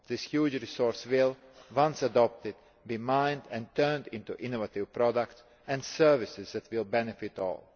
This huge resource will, once adopted, be mined and turned into innovative products and services that will benefit all.